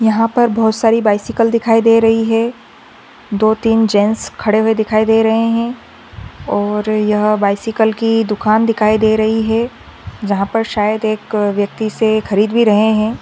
यहा पर बहुत सारी बाइसिकल दिखाई दे रही है दो तीन जैंट्स खड़े हुए दिखाई दे रहे है और यह बायसायकल की दुकान दिखाई दे रही है जहा पर शायद एक व्यक्ति से खरीद भी रहे है।